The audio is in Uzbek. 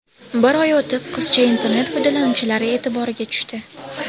Bir oy o‘tib qizcha internet foydalanuvchilari e’tiboriga tushdi.